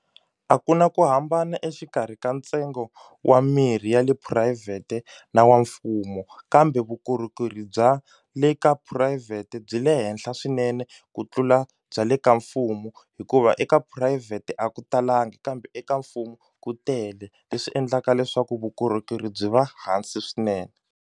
A ku na ku hambana exikarhi ka ntsengo wa mirhi ya le phurayivhete na wa mfumo kambe vukorhokeri bya le ka phurayivhete byi le henhla swinene ku tlula bya le ka mfumo hikuva eka phurayivhete a ku talangi kambe eka mfumo ku tele leswi endlaka leswaku vukorhokeri byi va hansi swinene.